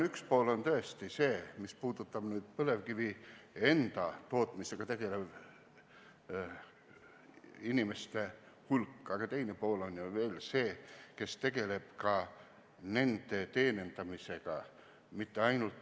Üks pool on tõesti põlevkivi enda tootmisega tegelev inimeste hulk, aga teine pool on ju veel see, kes tegeleb nende teenindamisega.